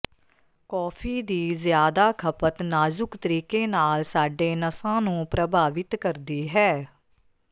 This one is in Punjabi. ਕੌਫੀ ਦੀ ਜ਼ਿਆਦਾ ਖਪਤ ਨਾਜ਼ੁਕ ਤਰੀਕੇ ਨਾਲ ਸਾਡੇ ਨਸਾਂ ਨੂੰ ਪ੍ਰਭਾਵਿਤ ਕਰਦੀ ਹੈ